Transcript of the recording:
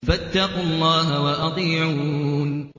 فَاتَّقُوا اللَّهَ وَأَطِيعُونِ